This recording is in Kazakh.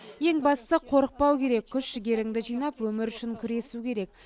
ең бастысы қорықпау керек күш жігеріңді жинап өмір үшін күресу керек